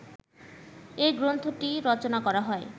এই গ্রন্থটি রচনা করা হয়